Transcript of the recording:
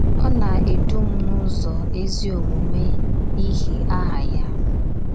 Ọ na - edu m n’ụzọ ezi omume n’ihi aha ya.